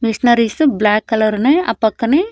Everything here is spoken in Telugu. మిషనరీస్ బ్లాక్ కలర్ ఉన్నాయి ఆ పక్కనే--